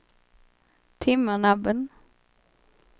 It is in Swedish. Timmernabben